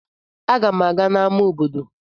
Aga m aga n'amá obodo.